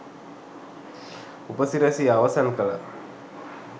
උපසිරැසිය අවසන් කලා.